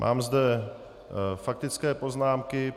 Mám zde faktické poznámky.